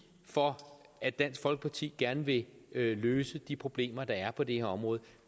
for at dansk folkeparti gerne vil løse de problemer der er på det her område